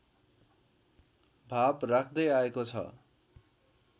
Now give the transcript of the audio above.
भाव राख्दै आएको छ